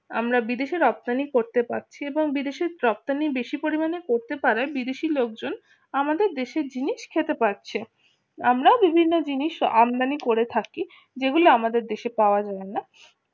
আমরা বিদেশে রপ্তানি করতে পারছি এবং বিদেশের রপ্তানি বেশি পরিমাণে করতে পারে বিদেশি লোকজন আমাদের দেশের জিনিস খেতে পারছে। আমরা বিভিন্ন জিনিস আমদানি করে থাকি যেগুলো আমাদের দেশে পাওয়া যায় না